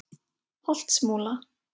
Holtsmúla